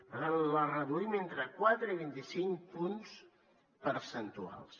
per tant la reduïm entre quatre i vint cinc punts percentuals